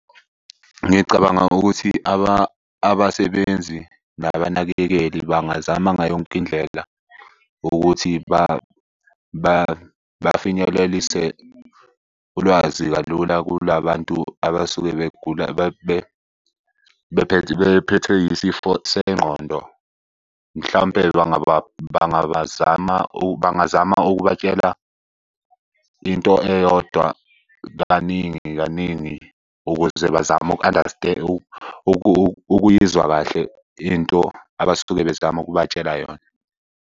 Ngicabanga ukuthi abasebenzi nabanakekeli bangazama ngayo yonke indlela ukuthi bafinyelelise ulwazi kalula kula bantu abasuke begula bephethwe isifo sengqondo. Mhlampe bangabazama , bangazama ukubatshela into eyodwa kaningi kaningi ukuze bazame ukuyizwa kahle into abasuke bezama ukubatshela yona.